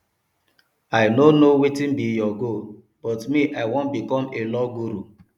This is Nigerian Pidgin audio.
i no know wetin be your goal but me i wan become a law guru